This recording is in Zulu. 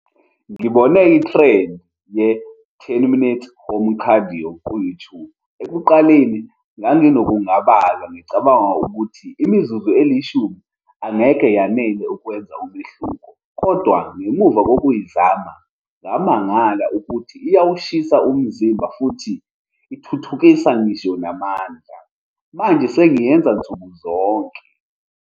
Ngibone i-trend ye-ten minutes home cardio ku-YouTube. Ekuqaleni nganginokungabaza, ngicabanga ukuthi imizuzu elishumi angeke yanele ukwenza umehluko. Kodwa ngemuva yokuyizama, ngamangala ukuthi iyawushisa umzimba futhi ithuthukisa ngisho namandla. Manje sengiyenza nsuku zonke.